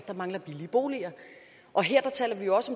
der mangler billige boliger og her taler vi jo også